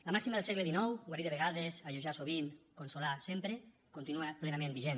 la màxima del segle xix guarir de vegades alleujar sovint consolar sempre continua plenament vigent